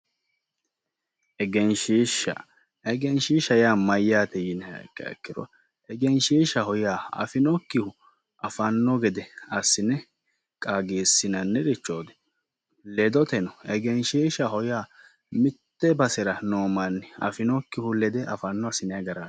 Egenishiisha. Egenishiishaho yaa Mayyaate yiniha ikkiha ikkiro egenishiishaho yaa afinokkihu afanno gede assine qaagisinanni richooti ledoteno egenishiishaho yaa mitte basera noo manni afinokkihu lede afanno assinay garaat